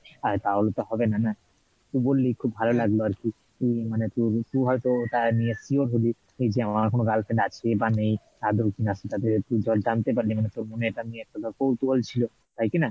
তাহলে তো হবে না, না তুই বললি খুব ভালো লাগলো আর কি মানে তুই হয়তো তাই নিয়ে sure হলি যে আমার কোনো girlfriend আছে বা নেই আদেও কি না সেটা ভেবে তোর মনে এটা নিয়ে কৌতুহল ছিলো তাই কি না?